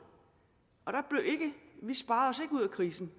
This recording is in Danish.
og vi sparede os ikke ud af krisen